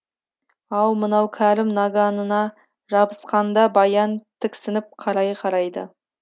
ау мынау кәрім наганына жабысқанда баян тіксініп қарай қарайды